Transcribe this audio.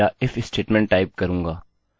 अब मैं मेरा if स्टेटमेंट टाइप करूँगा